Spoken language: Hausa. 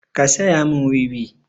Ka saya mun wiwi!